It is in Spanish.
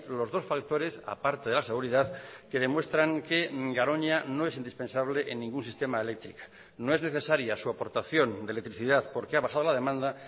los dos factores a parte de la seguridad que demuestran que garoña no es indispensable en ningún sistema eléctrica no es necesaria su aportación de electricidad porque ha bajado la demanda